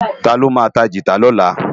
Táló má tá gitá lòlá?